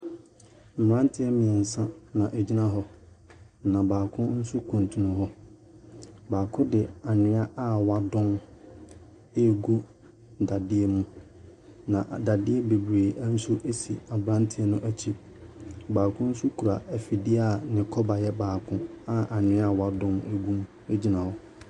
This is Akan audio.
Mmranteɛ mmiɛnsa na wɔgyina hɔ na baako nso kuntunu hɔ. Baako de anwea a wɔadɔn no regu dadeɛ mu. Na dadeɛ bebiree nso si abranteɛ n’akyi. Baako nso kura afidie a ne kɔba yɛ baako a anwea a wɔadɔn gu mu no gyina hɔ.